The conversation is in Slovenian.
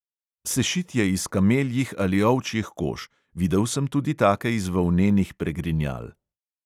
Sešit je iz kameljih ali ovčjih kož, videl sem tudi take iz volnenih pregrinjal.